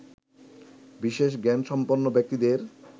বিশেষ জ্ঞান সম্পন্ন ব্যক্তিদের